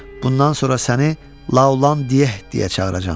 Bundan sonra səni La olan Dieh deyə çağıracağam.